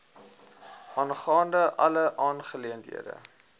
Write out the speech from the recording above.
aangaande alle aangeleenthede